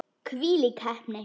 Hvílík heppni!